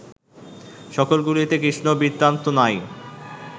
সকলগুলিতে কৃষ্ণবৃত্তান্ত নাই